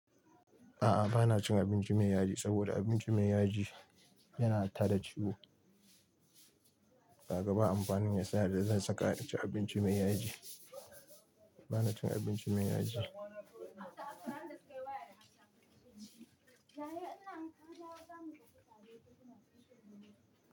A'a bana cin abinci mai yaji saboda abinci mai yaji yana tada ciwo. Ka ga ba amfanin me yasa da zan saka in ci abinci mai yaji. Bana cin abinci mai yaji.